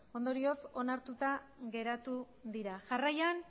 ondorioz onartuta geratu dira jarraian